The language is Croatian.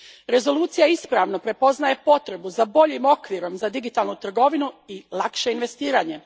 Rezolucija ispravno prepoznaje potrebu za boljim okvirom za digitalnu trgovinu i lakše investiranje.